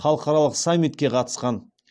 халықаралық саммитке қатысқан